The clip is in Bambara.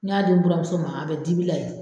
N y'a di n buramuso ma a bɛ dibi la ye.